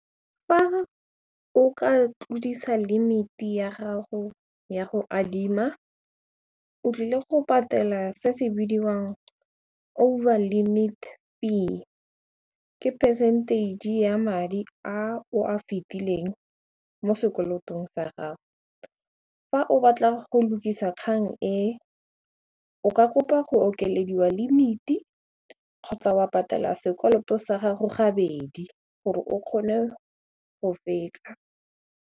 Fa o ka tlodisa limit ya gago ya go adima o tlile go patela se se bidiwang over limit fee ke percentage ya madi a o a fitileng mo sekolotong sa gago, fa o batla go lukisa kgang e o ka kopa go okelediwa limited kgotsa wa patala sekoloto sa gago gabedi gore o kgone go fetsa.